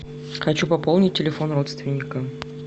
хочу пополнить телефон родственника